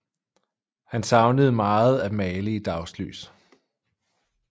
Han savnede meget at male i dagslys